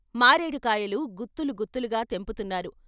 మారేడు కాయలు గుత్తులు గుత్తులుగా తెంపుతున్నారు.